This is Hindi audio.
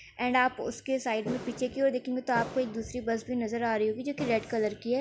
एण्ड आप उस के साइड में पीछे की और देखेंगे तो आपको एक दूसरी बस भी नजर आ रही होगी जोकि रेड कलर की है।